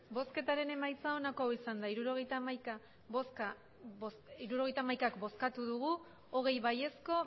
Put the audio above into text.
emandako botoak hirurogeita hamaika bai hogei ez